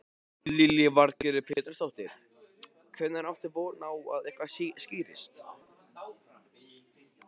Lillý Valgerður Pétursdóttir: Hvenær áttu von á að eitthvað skýrist?